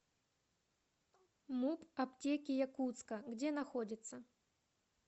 муп аптеки якутска где находится